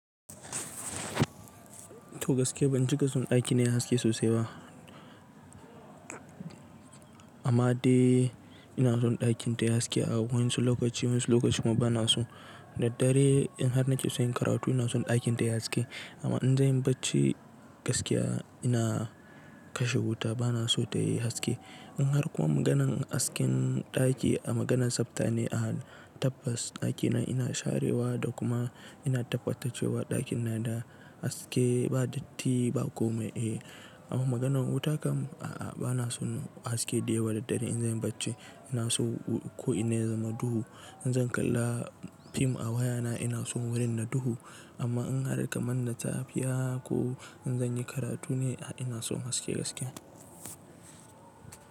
To gaskiya ban cika son ɗaki na yayi haske sosai ba. Amma dai ina son ɗakin ta yayi haske a wasu lokaci wasu lokaci kuma bana so. Daddare in har na ke son yin karatu ina son ɗakin ta yayi haske. Amma in zanyi bacci gaskiya ina kashe wuta bana so tayi haske in har kuma maganan hasken daki a maganan tsafta ne tabbas ɗaki na ina sharewa da kuma ina tabbatarcewa ɗakin na da haske ba datti ba komai amma maganan wuta kam a'a bana son haske dayawa daddare in zanyi bacci ina so ko ina ya zama duhu. In zan kalla fim a waya na ina son wurin na duhu. Amma in har kaman na tafiya ko in zanyi karatu ne a ina son haske gaskiya.